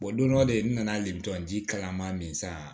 don dɔ de n nana lemron ji kalama min san